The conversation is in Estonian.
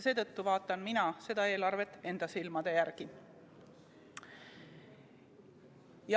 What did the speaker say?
Seetõttu vaatan mina seda eelarvet enda silmadega.